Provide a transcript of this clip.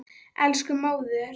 Elsku móðir.